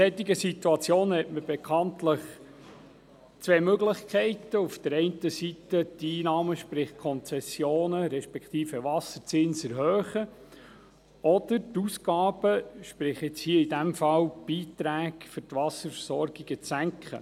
In einer solchen Situation hat man bekanntlich zwei Möglichkeiten: auf der einen Seite die Einnahmen – sprich die Konzessionen respektive Wasserzinsen – zu erhöhen oder die Ausgaben – sprich hier in diesem Fall die Beiträge für die Wasserversorgungen – zu senken.